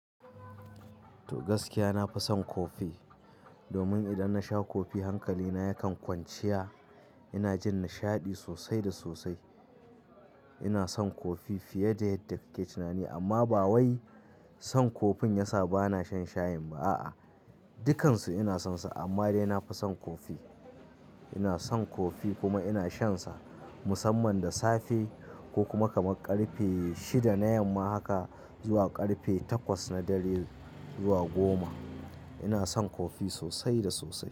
To gaskiya nafi son kofi domin idan nasha kofi hankali na yakan kwanciya. Ina jin nishaɗi sosai da sosai. Ina son kofi fiye da yadda kake tunani amma ba wai son kofin yasa bana shan shayin ba a'a, dukkansu ina sonsa amma dai nafi son kofi. Ina son kofi kuma ina shansa musamman da safe ko kuma kamar ƙarfe shida na yamma haka zuwa ƙarfe takwas na dare zuwa goma. Ina son kofi sosai da sosai.